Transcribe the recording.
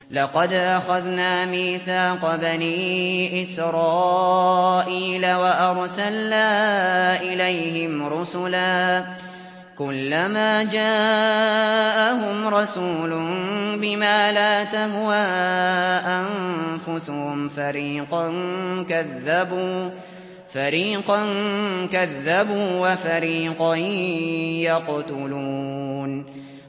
لَقَدْ أَخَذْنَا مِيثَاقَ بَنِي إِسْرَائِيلَ وَأَرْسَلْنَا إِلَيْهِمْ رُسُلًا ۖ كُلَّمَا جَاءَهُمْ رَسُولٌ بِمَا لَا تَهْوَىٰ أَنفُسُهُمْ فَرِيقًا كَذَّبُوا وَفَرِيقًا يَقْتُلُونَ